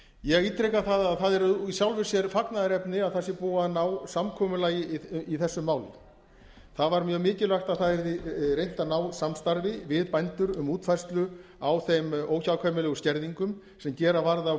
ég ítreka það að það er í sjálfu sér fagnaðarefni að það se búið að ná samkomulagi í þessu máli það var mjög mikilvægt að það yrði reynt að ná samstarfi við bændur um útfærslu á þeim óhjákvæmilegu skerðingum sem gera varð á